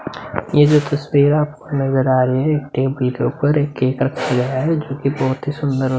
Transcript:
ये जो तस्वीर आपको नज़र आ रहे है टेबल के ऊपर एक केक रखा गया है जोकि बहोत ही सुन्दर ओ --